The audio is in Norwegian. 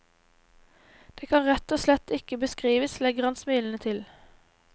Det kan rett og slett ikke beskrives, legger han smilende til.